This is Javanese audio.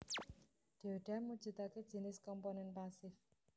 Dioda mujudake jinis komponen pasif